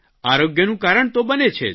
આરોગ્યનું કારણ તો બને છે જ